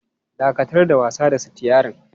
Dakatar da wasa da sitiyarin!